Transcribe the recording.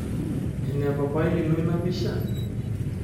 Ene papai lino ina pisha?